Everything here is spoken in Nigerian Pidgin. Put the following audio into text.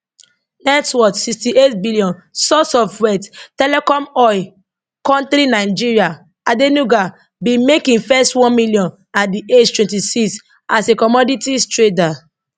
net worth sixty eight billion source of wealth telecom oil kontri nigeria adenuga bin make im first one million at di age twenty six as a commodities trader